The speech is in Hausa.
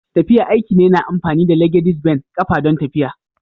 Tafiya aiki ne na amfani da (legedis ben) kafa don tafiya.